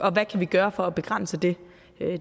kan vi gøre for at begrænse det